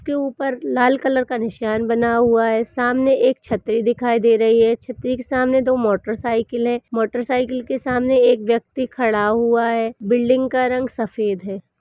जिसके ऊपर लाल कलर का निशान बना हुआ है सामने एक छतरी दिखाई दे रही है छतरी के सामने दो मोटरसाइकिल हैं मोटरसाइकिल के सामने एक व्यक्ति खड़ा हुआ है बिल्डिंग का रंग सफेद है।